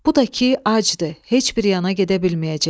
Bu da ki, acdır, heç bir yana gedə bilməyəcək.